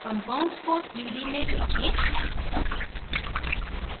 compounds को 3 D में देखें